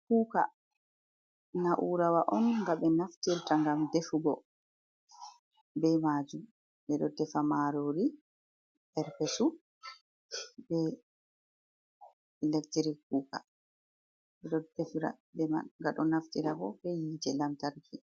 Kuuka na'uurawa on, nga ɓe naftirta ngam defugo be maajum. Ɓe ɗo defa maaroori, perpesu, be elektirik kuuka, ɓe ɗon defira be man. Nga ɗo naftira bo, be yiite lamtarki.